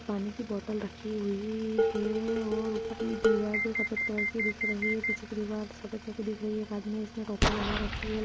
पानी की बॉटल रखी हुई है और ऊपर ये दीवार जो सफेद कलर की दिख रही है। पीछे की दीवार सफेद कलर की दिख रही है। एक आदमी है इसने टोपी लगा रखी है।